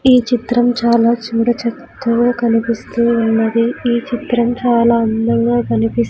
ఈ చిత్రం చాలా చూడచక్కగా కనిపిస్తూ ఉన్నది ఈ చిత్రం చాలా అందంగా కనిపిస్--